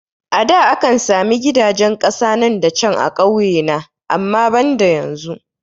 A da akan sami gidajen kasa nan da can a kauye na amma banda yanzu